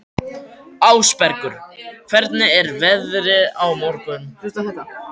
Ásbergur, hvernig er veðrið á morgun?